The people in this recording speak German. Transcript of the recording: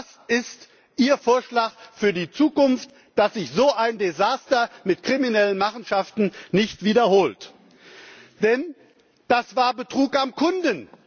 Was ist Ihr Vorschlag für die Zukunft, damit sich so ein Desaster mit kriminellen Machenschaften nicht wiederholt? Denn das war Betrug am Kunden.